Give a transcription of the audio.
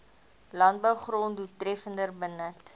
landbougrond doeltreffender benut